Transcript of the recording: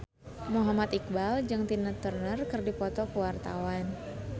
Muhammad Iqbal jeung Tina Turner keur dipoto ku wartawan